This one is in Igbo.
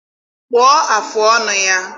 kpụọ afụ ọnụ ya.